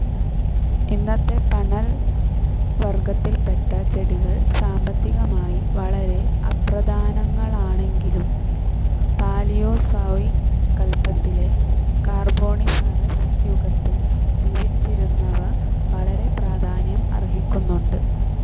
ഇന്നത്തെ പന്നൽ വർഗത്തിൽപ്പെട്ട ചെടികൾ സാമ്പത്തികമായി വളരെ അപ്രധാനങ്ങളാണെങ്കിലും പാലിയോസോയിക് കല്പത്തിലെ കാർബോണിഫറസ്‌ യുഗത്തിൽ ജീവിച്ചിരുന്നവ വളരെ പ്രാധാന്യം അർഹിക്കുന്നുണ്ട്.